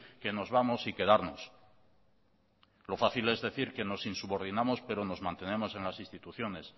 que nos vamos y quedarnos lo fácil es decir que nos insubordinamos pero nos mantenemos en las instituciones